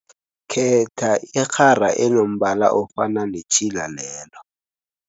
Khetha irhara enombala ofana netjhila lelo.